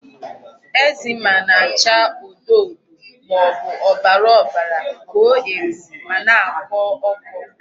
Eczema na-acha odo odo maọbụ ọbara ọbara, koo eko ma na-akọ ọkọ.